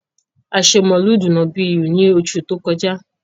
A ṣe mọ̀ọ́lúdù nọ̀bíyì ni oṣù tí ó kọjá.